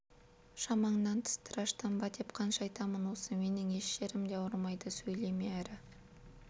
шамаңнан тыс тыраштанба деп қанша айтамын осы менің еш жерім де ауырмайды сөйлеме әрі